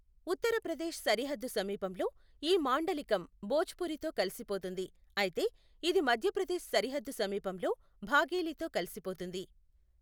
ఉత్తరప్రదేశ్ సరిహద్దు సమీపంలో, ఈ మాండలికం భోజ్పురితో కలిసిపోతుంది, అయితే ఇది మధ్యప్రదేశ్ సరిహద్దు సమీపంలో బాఘేలితో కలిసిపోతుంది.